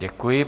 Děkuji.